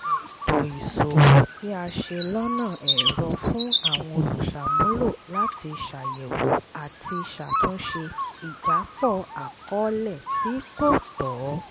ètò ìsòwò tí a ṣe lọ́nà ẹ̀rọ fún àwọn olùṣàmúlò láti ṣàyẹ̀wò àti ṣàtúnṣe ìjápọ̀ àkọọ́lẹ̀ tí kò tọ́